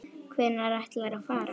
Hvenær ætlarðu að fara?